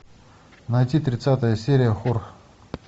найти тридцатая серия хор